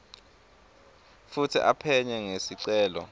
futsi aphenye ngesicelo